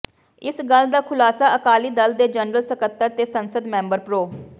ਇਸ ਗੱਲ ਦਾ ਖੁਲਾਸਾ ਅਕਾਲੀ ਦਲ ਦੇ ਜਨਰਲ ਸਕੱਤਰ ਤੇ ਸੰਸਦ ਮੈਂਬਰ ਪ੍ਰੋ